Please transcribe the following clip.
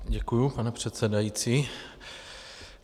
Děkuji, pane předsedající.